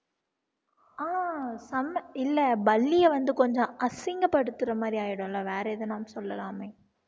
ஆஹ் இல்ல பல்லிய வந்து கொஞ்சம் அசிங்கபடுத்துற மாதிரி ஆயிடும்ல வேற எதுனா சொல்லலாமே